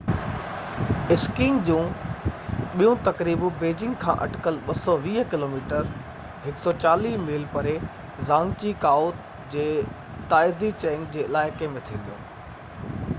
اسڪينگ جون ٻيون تقريبون بيجنگ کان اٽڪل 220 ڪلوميٽر 140 ميل پري زانگجي ڪائو جي تائيزي چينگ جي علائقي ۾ ٿينديون